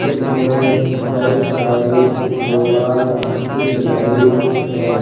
इसमें बहुत सारी मोबाल दिख रही हैं।